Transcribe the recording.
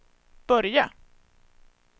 Börje